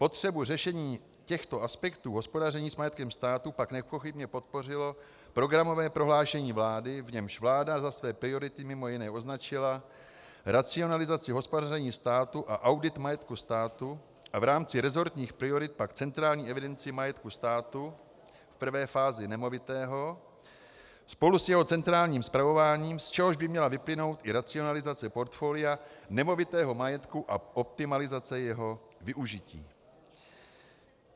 Potřebu řešení těchto aspektů hospodaření s majetkem státu pak nepochybně podpořilo programové prohlášení vlády, v němž vláda za své priority mimo jiné označila racionalizaci hospodaření státu a audit majetku státu a v rámci resortních priorit pak centrální evidenci majetku státu, v prvé fázi nemovitého, spolu s jeho centrálním spravováním, z čehož by měla vyplynout i racionalizace portfolia nemovitého majetku a optimalizace jeho využití.